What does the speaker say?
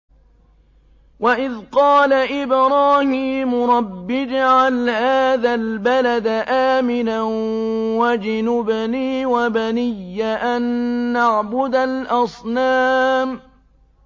وَإِذْ قَالَ إِبْرَاهِيمُ رَبِّ اجْعَلْ هَٰذَا الْبَلَدَ آمِنًا وَاجْنُبْنِي وَبَنِيَّ أَن نَّعْبُدَ الْأَصْنَامَ